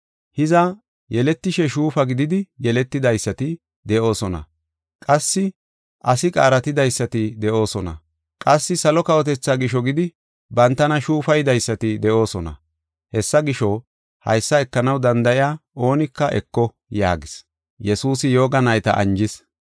Hiza, yeletishe shuufa gididi yeletidaysati de7oosona, qassi asi qaaratidaysati de7oosona, qassi salo kawotethaa gisho gidi bantana shuufaydaysati de7oosona. Hessa gisho, haysa ekanaw danda7iya oonika eko” yaagis.